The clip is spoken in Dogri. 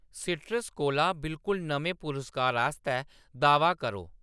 साइट्रस कोला बिलकुल नमें पुरस्कार आस्तै दावा करो।